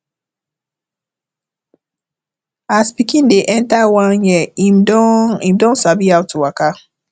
as pikin dey enter one year im don im don sabi how to waka